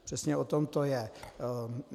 Přesně o tom to je!